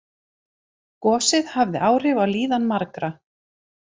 Gosið hafði áhrif á líðan margra